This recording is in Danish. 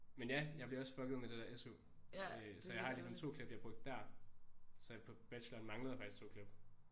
Men ja jeg bliver også fucket med det der SU øh så jeg har ligesom 2 klip jeg brugte der så på bacheloren manglede jeg faktisk 2 klip